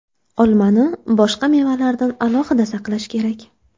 Olmani boshqa mevalardan alohida saqlash kerak.